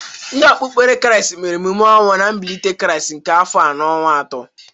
Ndị okpukpere kraịst mere emume ọnwụ na mbilite krịast nke afọ a n' ọnwa atọ.